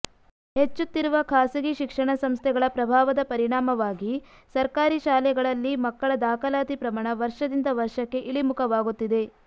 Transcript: ಹೆಚ್ಚುತ್ತಿರುವ ಖಾಸಗಿ ಶಿಕ್ಷಣ ಸಂಸ್ಥೆಗಳ ಪ್ರಭಾವದ ಪರಿಣಾಮವಾಗಿ ಸರ್ಕಾರಿ ಶಾಲೆಗಳಲ್ಲಿ ಮಕ್ಕಳ ದಾಖಲಾತಿ ಪ್ರಮಾಣ ವರ್ಷದಿಂದ ವರ್ಷಕ್ಕೆ ಇಳಿಮುಖವಾಗುತ್ತಿದೆ